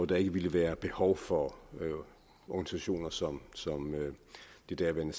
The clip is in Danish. der ikke ville være behov for organisationer som det daværende